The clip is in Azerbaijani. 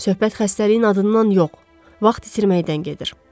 Söhbət xəstəliyin adından yox, vaxt itirməkdən gedir.